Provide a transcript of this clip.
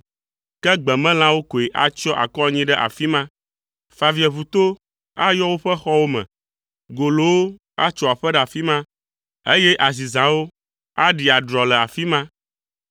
Ke gbemelãwo koe atsyɔ akɔ anyi ɖe afi ma. Favieʋuto ayɔ woƒe xɔwo me, golowo atso aƒe ɖe afi ma eye azizãwo aɖi adrɔ le afi ma.